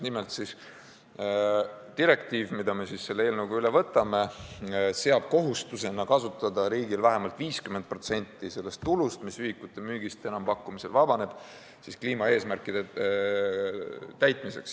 Nimelt, direktiiv, mille me selle eelnõuga üle võtame, seab riigile kohustuseks kasutada vähemalt 50% sellest tulust, mis ühikute müügist enampakkumisel vabaneb, kliimaeesmärkide täitmiseks.